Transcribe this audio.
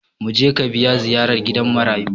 Mu je ka biya ziyarar gidan marayu!